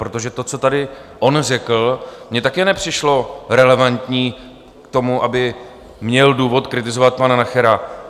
Protože to, co tady on řekl, mi také nepřišlo relevantní k tomu, aby měl důvod kritizovat pana Nachera.